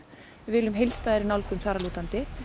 við viljum heildstæðari nálgun þar að lútandi